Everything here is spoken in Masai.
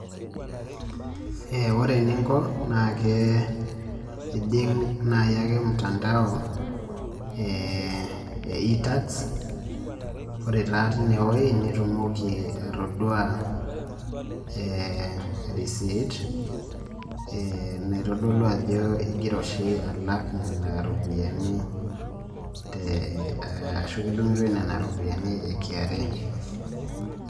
eeh ore eninko naa kee ejing naai ake mutandao eeh e e-tax ore taa tinewuei nitumoki atadua eeh erisit, ee naitodolu ajo igira oshi alak nena ropiani te eeh ashu kidung'itoi nena ropiani e kra